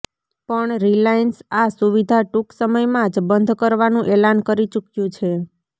પણ રિલાયન્સ આ સુવિધા ટુંક સમયમાં જ બંધ કરવાનું એલાન કરી ચુક્યું છે